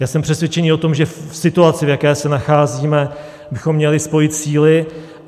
Já jsem přesvědčený o tom, že v situaci, v jaké se nacházíme, bychom měli spojit síly.